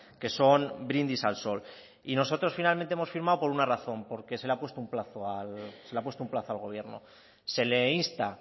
que son brindis al sol y nosotros finalmente hemos firmado por una razón porque se le ha puesto un plazo al gobierno se le insta